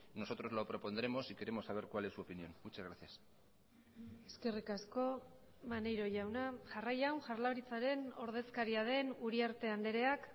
nosotros lo propondremos y queremos saber cuál es su opinión muchas gracias eskerrik asko maneiro jauna jarraian jaurlaritzaren ordezkaria den uriarte andreak